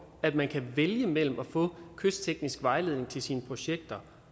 at man kan vælge mellem at få kystteknisk vejledning til sine projekter